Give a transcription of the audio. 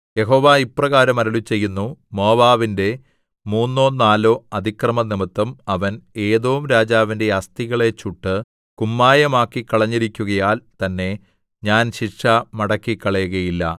യഹോവ ഇപ്രകാരം അരുളിച്ചെയ്യുന്നു മോവാബിന്റെ മൂന്നോ നാലോ അതിക്രമംനിമിത്തം അവൻ ഏദോം രാജാവിന്റെ അസ്ഥികളെ ചുട്ട് കുമ്മായമാക്കിക്കളഞ്ഞിരിക്കുകയാൽ തന്നെ ഞാൻ ശിക്ഷ മടക്കിക്കളയുകയില്ല